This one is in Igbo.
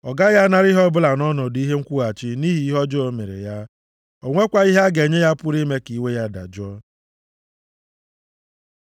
Ọ gaghị anara ihe ọbụla nʼọnọdụ ihe nkwụghachi nʼihi ihe ọjọọ o mere ya. O nwekwaghị ihe a ga-enye ya pụrụ ime ka iwe ya dajụọ.